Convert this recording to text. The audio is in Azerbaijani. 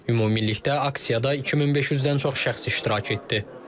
Ümumilikdə aksiyada 2500-dən çox şəxs iştirak etdi.